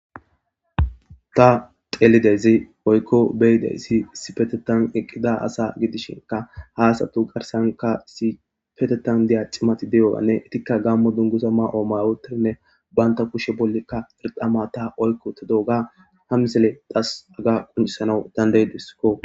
ta xeelidezi woykko beyidey issipetetan eqqida asa gidishinka ha asatu garsanka sipetetan diya cimati de7owanne etikka gammo dungusa ma7o mawotirinne baynta kushe bollikka irqama ta oykko ta dooga ha misele das aga quncisanawu dandaydiskko